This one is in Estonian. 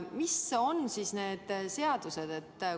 Mis on siis need seadused?